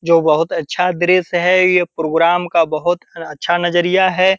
जो बहुत अच्छा दृश्य है ये प्रोग्राम का बहुत अच्छा नजरिया है।